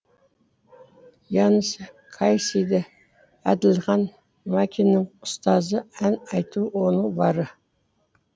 янис кайсиди әділхан макиннің ұстазы ән айту оның бары